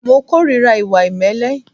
Mo ìkórìíra ìwà ìmẹ́lẹ́.